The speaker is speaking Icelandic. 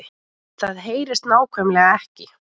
Það HEYRIST NÁKVÆMLEGA EKKI